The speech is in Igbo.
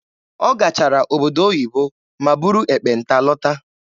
Ọ gachara obodo oyibo ma buru ekpenta lọta.